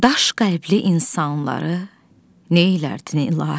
Daş qəlbli insanları neylərdin, ilahi?